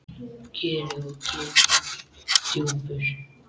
Kerið er ketill djúpur.